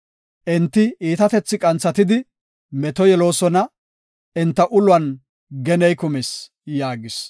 Enti iitatethi qanthatidi meto yeloosona; enta uluwan geney kumis” yaagis.